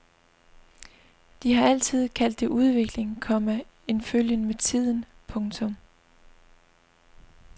De har altid kaldt det udvikling, komma en følgen med tiden. punktum